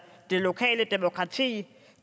det lokale demokrati